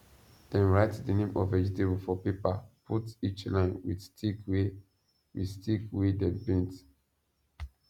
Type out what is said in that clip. dem write the name of vegetable for paper put each line with stick wey with stick wey dem paint